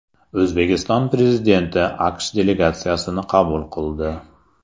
O‘zbekiston Prezidenti AQSh delegatsiyasini qabul qildi.